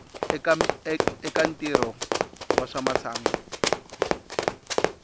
eka ntirho wa swa masangu